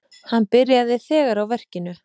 Hann byrjaði þegar á verkinu.